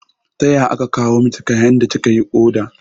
Taya aka kawo miki kayan da kika yi oda?